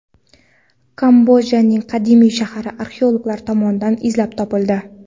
Kambojaning qadimiy shahri arxeologlar tomonidan izlab topildi.